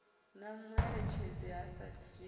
na mueletshedzi a sa dzhiiho